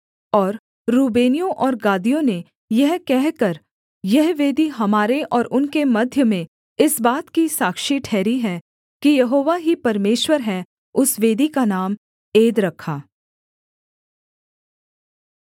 और रूबेनियों और गादियों ने यह कहकर यह वेदी हमारे और उनके मध्य में इस बात की साक्षी ठहरी है कि यहोवा ही परमेश्वर है उस वेदी का नाम एद रखा